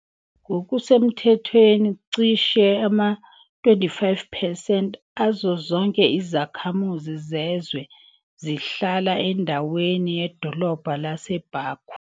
Ngokusemthethweni, cishe ama-25 percent azo zonke izakhamuzi zezwe zihlala endaweni yedolobha lase- Baku.